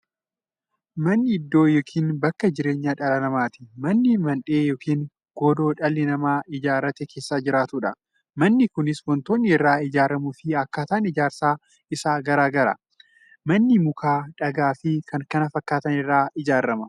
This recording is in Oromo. Manni iddoo yookiin bakka jireenya dhala namaati. Manni Mandhee yookiin godoo dhalli namaa ijaaratee keessa jiraatudha. Manni Kunis waantootni irraa ijaaramuufi akkaataan ijaarsa isaa gargar. Manni muka, dhagaafi kan kana fakkaatan irraa ijaarama.